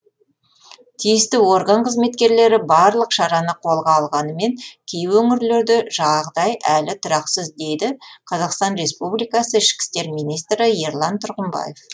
тиісті орган қызметкерлері барлық шараны қолға алғанымен кей өңірлерде жағдай әлі тұрақсыз дейді қазақстан республикасы ішкі істер министрі ерлан тұрғымбаев